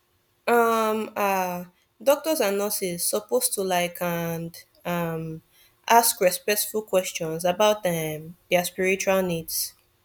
um ah doctors and nurses suppose to like and um ask respectful questions about um dia spiritual needs